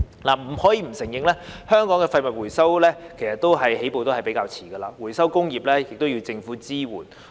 不得不承認，香港的廢物回收起步較遲，回收工業亦要政府支援。